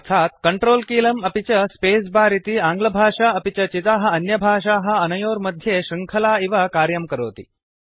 अर्थात् कंट्रोल कीलम् अपि च स्पेसबार इति आङ्ग्लभाषा अपि च चिताः अन्यभाषाः अनयोः मध्ये शृङ्खला इव कार्यं करोति